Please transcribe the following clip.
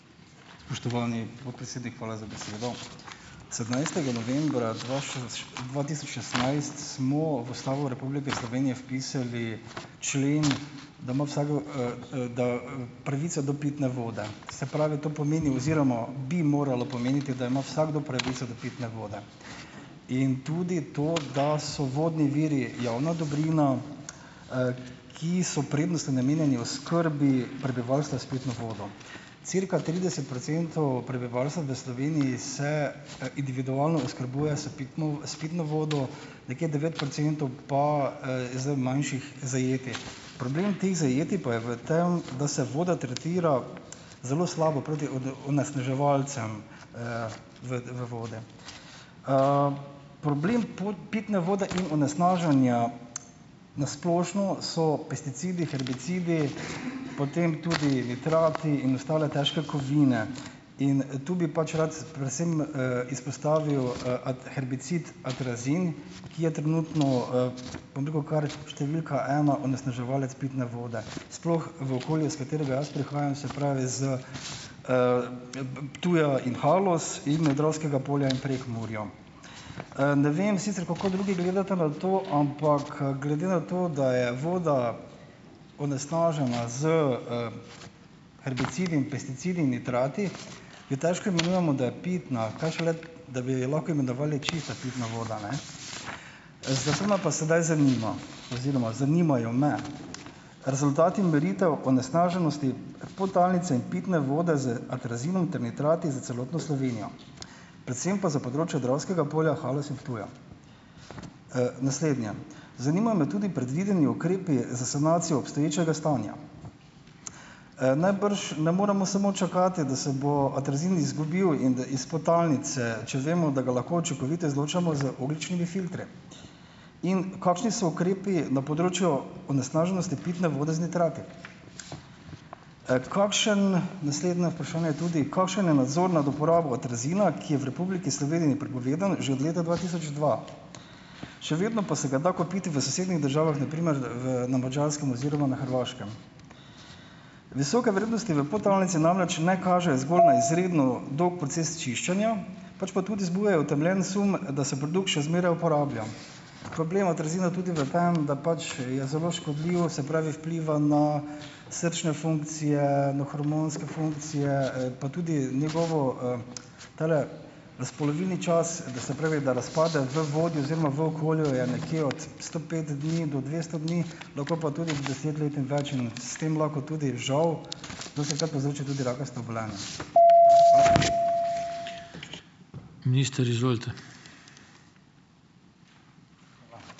Spoštovani podpredsednik, hvala za besedo! Sedemnajstega novembra dva tisoč šestnajst, smo v Ustavo Republike Slovenije vpisali člen, da ima vsakdo pravico do pitne vode. Se pravi, to pomeni oziroma bi moralo pomeniti, da ima vsakdo pravico do pitne vode, in tudi to, da so vodni viri javna dobrina, ki so prednostno namenjeni oskrbi prebivalstva s pitno vodo. Cirka trideset procentov prebivalstva v Sloveniji se, individualno oskrbuje s pitno s pitno vodo, nekje devet procentov pa, iz manjših zajetij. Problem teh zajetij pa je v tem, da se voda tretira zelo slabo proti onesnaževalcem vode. Problem pitne vode in onesnaženja na splošno so pesticidi, herbicidi, potem tudi nitrati in ostale težke kovine in tu bi pač rad predvsem, izpostavil, herbicid atrazin, ki je trenutno, bom rekel, kar številka ena onesnaževalec pitne vode, sploh v okolju, iz katerega jaz prihajam, se pravi, s Ptuja in Haloz in Dravskega polja in Prekmurja. Ne vem sicer, kako drugi gledate na to, ampak glede na to, da je voda onesnažena s herbicidi in pesticidi in nitrati, jo težko imenujemo, da je pitna, kaj šele, da bi jo lahko imenovali čista pitna voda, ne. Zato me pa sedaj zanima oziroma zanimajo me rezultati meritev onesnaženosti podtalnice in pitne vode z atrazinom ter nitrati za celotno Slovenijo, predvsem pa za področje Dravskega polja, Haloz in Ptuja. Naslednje. Zanimajo me tudi predvideni ukrepi za sanacijo obstoječega stanja. Najbrž ne moremo samo čakati, da se bo atrazin izgubil in da iz podtalnice, če vemo, da ga lahko učinkovito izločamo z ogljičnimi filtri. In kakšni so ukrepi na področju onesnaženosti pitne vode z nitrati? Kakšen, naslednje vprašanje tudi: Kakšen je nadzor nad uporabo atrazina, ki je v Republiki Sloveniji prepovedan že od leta dva tisoč dva? Še vedno pa se ga da kupiti v sosednjih državah, na primer v na Madžarskem oziroma na Hrvaškem. Visoke vrednosti v podtalnici namreč ne kažejo zgolj na izredno dolg proces čiščenja, pač pa tudi zbujajo utemeljen sum, da se produkt še zmeraj uporablja. Problem atrazina je tudi v tem, da pač je zelo škodljiv, se pravi, vpliva na srčne funkcije, na hormonske funkcije, pa tudi njegov razpolovilni čas, se pravi, da razpade v vodi oziroma v okolju je nekje od sto pet dni do dvesto dni, lahko pa tudi deset let in več in s tem lahko tudi žal dostikrat povzroči tudi rakasta obolenja.